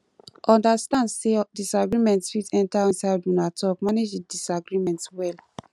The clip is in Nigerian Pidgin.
understand sey disagreement fit enter inside una talk manage di disagreement well